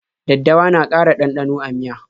Daddawa na ƙara ɗanɗano a miya.